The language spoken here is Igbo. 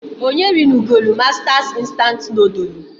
Onye rinugolu Mastas instant nodulu?